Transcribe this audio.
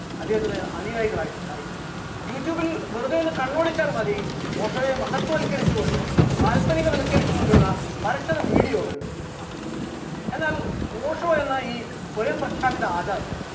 അദ്ദേഹത്തിന് അനുയായികളായിട്ട് ഉണ്ടായി, youtube ൽ വെറുതെ ഒന്ന് കണ്ണോടിച്ചാൽ മതി ഓഷോയെ മഹത്വവത്കരിച്ചുകൊണ്ട് കാല്പനികവത്കരിച്ചുകൊണ്ടുള്ള അനശ്വരം video കൾ കാണാം, എന്നാൽ ഓഷോ എന്ന ഈ സ്വയം പ്രഖ്യാപിത ആചാരം